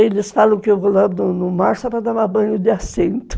Eles falam que eu vou lá no mar só para tomar banho de assento.